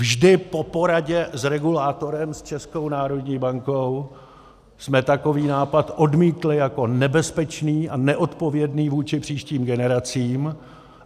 Vždy po poradě s regulátorem, s Českou národní bankou, jsme takový nápad odmítli jako nebezpečný a neodpovědný vůči příštím generacím.